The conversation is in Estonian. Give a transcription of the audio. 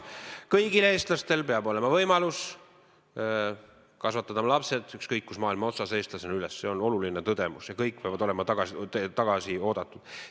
Kõigil eestlastel peab olema võimalus kasvatada oma lapsed ükskõik kus maailma otsas üles eestlastena, see on oluline tõdemus, ja kõik peavad olema tagasi oodatud.